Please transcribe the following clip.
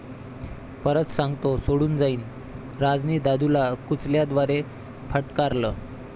परत सांगतो सोडून जाईन!, राजनी 'दादू'ला कुंचल्याद्वारे फटकारलं